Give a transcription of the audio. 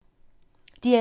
DR2